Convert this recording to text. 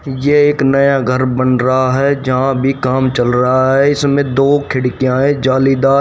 ये एक नया घर बन रहा है जहां भी काम चल रहा है इसमें दो खिड़कियां है जालीदा--